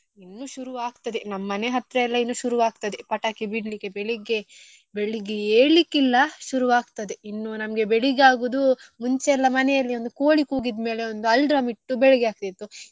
ಇನ್ನೂ ಶುರು ಅಗ್ತದೆ ನಮ್ ಮನೆ ಹತ್ರಯೆಲ್ಲ ಇನ್ನೂ ಶುರು ಆಗ್ತದೆ ಪಟಾಕಿ ಬಿಡ್ಲಿಕ್ಕೆ ಬೆಳಿಗ್ಗೆ ಬೆಳ್ಳಿಗ್ಗೆ ಏಳ್ಲಿಕ್ಕೆ ಇಲ್ಲ ಶುರು ಆಗ್ತದೆ ಇನ್ನೂ ನಮ್ಗೆ ಬೆಳ್ಳಿಗೆ ಆಗುದು ಮುಂಚೆಯೆಲ್ಲ ಮನೆಯಲ್ಲಿ ಒಂದು ಕೋಳಿ ಕೂಗಿದ್ ಮೇಲೆ ಒಂದು alarm ಇಟ್ಟು ಬೆಳ್ಳಿಗ್ಗೆ ಆಗ್ತಾ ಇತ್ತು.